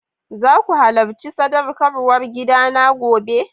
Zaku halacci sadaukarwar gida na gobe?